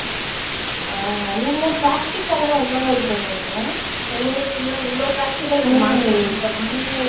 ஆஹ் ஆஹ் நீங்க practical லா எந்த மாதிரி பண்ணுவீங்க. இப்ப எங்களுக்கு இந்த இவ்ளோ practical